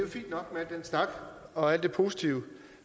snak og alt det positive